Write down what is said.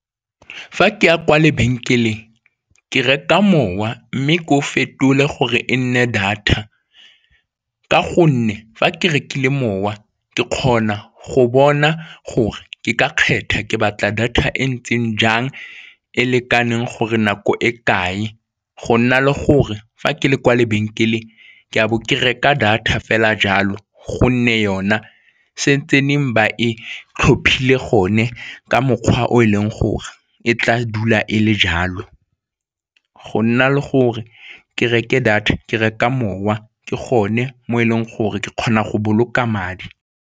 Fa ke ya kwa lebenkeleng ke reka mowa mme ko fetole gore e nne data ka gonne fa ke rekile mowa ke kgona go bona gore ke ka kgetha, ke batla data e ntseng jang e lekaneng gore nako e kae go nna le gore fa ke le kwa lebenkeleng ke a bo ke reka data fela jalo gonne yona se tseneng ba e tlhophile gone ka mokgwa o e leng gore e tla dula e le jalo, go nna le gore ke reke data ke reka mowa ke gone mo e leng gore ke kgona go boloka madi.